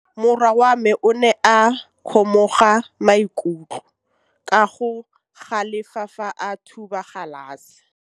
Morwa wa me o ne a kgomoga maikutlo ka go galefa fa a thuba galase.